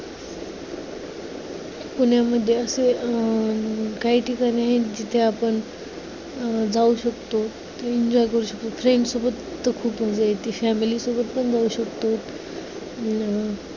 पुण्यामध्ये असे अं काही ठिकाणे आहेत जिथे आपण अं जाऊ शकतो, enjoy करू शकतो, friends सोबत तिथं खूप enjoy येतो, family सोबत पण जाऊ शकतो. अं